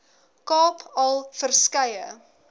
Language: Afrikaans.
kaap al verskeie